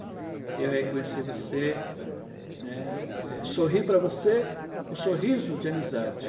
Eu reconheci você, né, eh, sorri para você o sorriso de amizade.